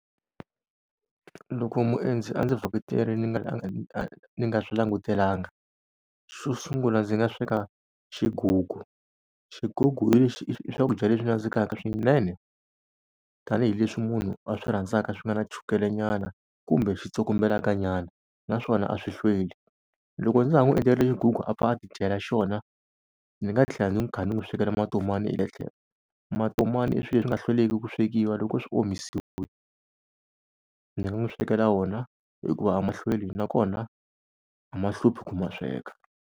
Loko muendzi a ndzi vhakacherile ni nga ni nga swi langutelanga xo sungula ndzi nga sweka xigugu, xigugu i i swakudya leswi nandzikaka swinene tanihileswi munhu a swi rhandzaka swi nga na chukelenyana kumbe xi tsokombelakanyana naswona a swi hlweli. Loko ndza ha n'wi endlerile xigugu a pfa a ti dyela xona, ndzi nga tlhela ndzi kha ni n'wi swekela matomani hi le tlhelo. Matomani i swilo leswi nga hlweliki ku swekiwa loko swi omisiwile, ndzi nga n'wi swekela wona hikuva a ma hlweli nakona a ma hluphi ku ma sweka.